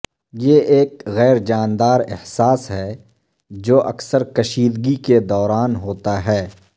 یہ ایک غیر جانبدار احساس ہے جو اکثر کشیدگی کے دوران ہوتا ہے